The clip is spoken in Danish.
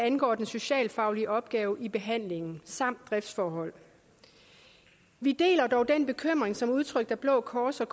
angår den socialfaglige opgave i behandlingen samt driftsforholdene vi deler dog den bekymring som er udtrykt af blå kors og